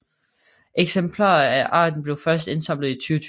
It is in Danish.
Eksemplarer af arten blev først indsamlet i 2020